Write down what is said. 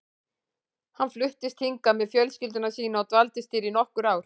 Hann fluttist hingað með fjölskyldu sína og dvaldist hér í nokkur ár.